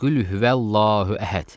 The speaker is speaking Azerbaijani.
Qul huəllahu əhəd.